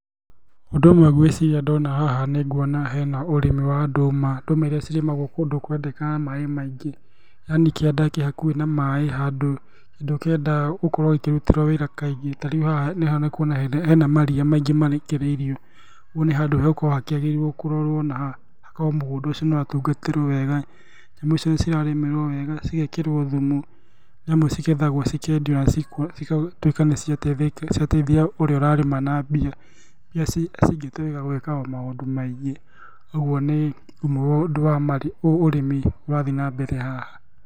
Ũndũ ũmwe ngwĩciria ndona haha nĩ nguona he na ũrĩmi wa ndũma, ndũma iria cirĩmagwo kũndũ kũrendekana maaĩ maingĩ yaani kĩanda kĩ hakuhĩ na maaĩ handũ ũkĩenda gũkorwo ikĩrutĩrwo wĩra kaingĩ. Ta rĩu haha nĩ ũkuona hena maria maingĩ marekereirio, kũguo nĩ handũ hagũkorwo hakĩagĩrĩirwo kũrorwo na hakorwo mũgũnda ũcio nĩ watungatĩrwo wega, nyamũ icio cirarĩmĩrwo wega cigekĩrwo thumu nĩamu cigethagwo cikendio na cigatuĩka nĩ ciateithia ũrĩa ũrarĩma na mbia. Mbia cingĩtũmĩka gũĩka o maũndũ maingĩ. Ũguo nĩ ũrĩmi ũrathiĩ na mbere haha.